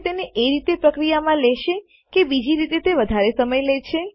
તે તેને એ રીતે પ્રક્રિયામાં લેશે કે બીજી રીતે તે વધારે સમય લે છે